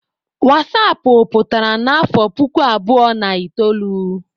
wasapụ pụtara n'afọ puku abụọ na itoolu.